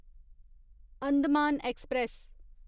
Andaman express